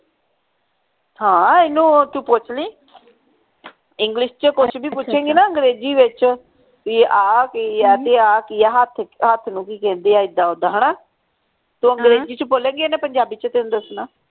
ਹਾਂ ਇਹਨੂੰ ਤੂੰ ਪੁੱਛ ਲਈ english ਚ ਕੁਛ ਵੀ ਪੁੱਛੇਗੀ ਨਾ ਅੰਗਰੇਜ਼ੀ ਵਿਚ ਵੀ ਆਹ ਕਿ ਆ ਤੇ ਆਹ ਕਿ ਆ ਹੱਥ ਹੱਥ ਨੂੰ ਕਿ ਕਹਿੰਦੇ ਆ ਇੱਦਾ ਉਦਾ ਹਣਾ ਤੂੰ ਅੰਗਰੇਜ਼ੀ ਚ ਬੋਲੇਂਗੀ ਇਹਨੇ ਪੰਜਾਬੀ ਚ ਤੈਨੂੰ ਦਸਣਾ